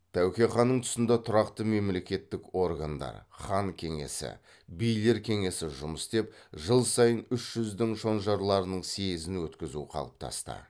тәуке ханның тұсында тұрақты мемлекеттік органдар хан кеңесі билер кеңесі жұмыс істеп жыл сайын үш жүздің шонжарларының съезін өткізу қалыптасты